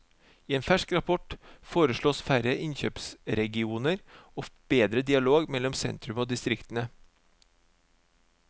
I en fersk rapport foreslås færre innkjøpsregioner og bedre dialog mellom sentrum og distriktene.